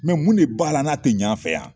mun de b'a la n'a tɛ ɲɛ an fɛ yan